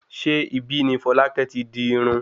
Ṣé ibi ní Folákẹ́ ti di irún?